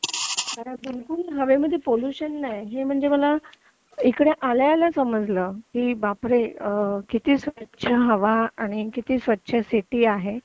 इकडे हवेमध्ये बिलकुल पॉल्युशन नाहीये म्हणजे मला इकडे आल्या आल्या समजलं की बापरे किती स्वच्छ हवा आणि किती स्वच्छ सिटी आहे